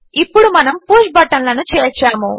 ఇప్పుడు మనము పుష్ బటన్లను చేర్చాము